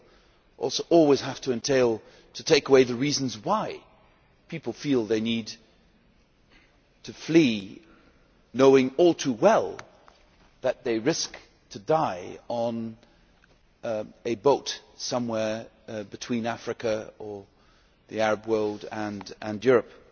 It will always have to entail taking away the reasons why people feel they need to flee, knowing all too well that they risk dying on a boat somewhere between Africa or the Arab world and Europe.